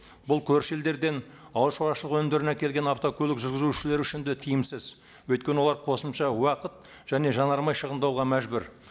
бұл көрші елдерден ауыл шаруашылығы өнімдерін әкелген автокөлік жүргізушілері үшін де тиімсіз өйткені олар қосымша уақыт және жанармай шығындауға мәжбүр